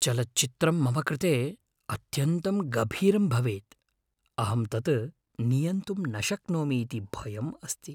चलच्चित्रं मम कृते अत्यन्तं गभीरं भवेत् । अहं तत् नियन्तुं न शक्नोमि इति भयम् अस्ति।